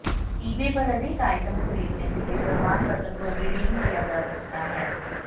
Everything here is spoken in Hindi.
ईबे पर अधिक आइटम खरीदने के लिए प्रमाणपत्र को रिडीम किया जा सकता है